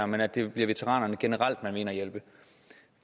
men at det bliver veteranerne generelt man vil ind at hjælpe